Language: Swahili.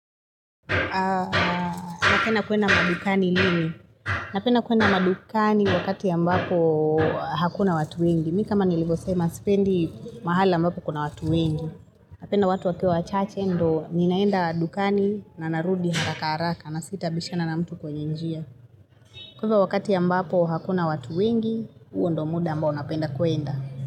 Unapenda kuenda madukani lini? Napenda kuenda madukani wakati ambapo hakuna watu wengi. Mimi kama nilivyosema sipendi mahali ambapo kuna watu wengi. Napenda watu wakiwa wachache ndio ninaenda dukani na narudi haraka haraka na sitabishana na mtu kwenye njia. Kwa hivyo wakati ambapo hakuna watu wengi, huo ndio muda ambao napenda kuenda.